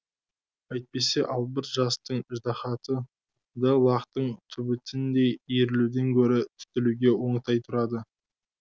әйтпесе албырт жастың ыждаһаты да лақтың түбітіндей иірілуден гөрі түтілуге оңтай тұрады